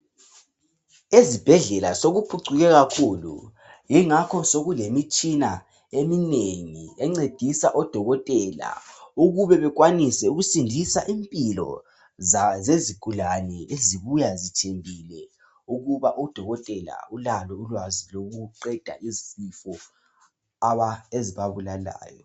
Ezibhedlela sokuphucuke kakhulu yingakho sokulemitshina eminengi encedisa o Dokotela ukube bekwanise ukusindisa impilo zezigulane ezibuya zithembile ukuba u Dokotela ulalo ulwazi lokuqeda izifo abantu ezibabulalayo.